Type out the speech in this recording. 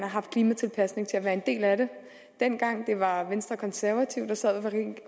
haft klimatilpasning til at være en del af dem dengang det var venstre og konservative der sad